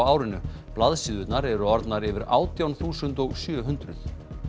árinu blaðsíðurnar eru orðnar yfir átján þúsund og sjö hundruð